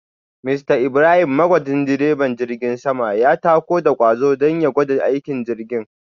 Mr Ibrahim magwajin direban jirgin sama ya tako da kwazo don ya gwada aikin jirgin